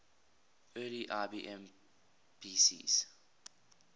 early ibm pcs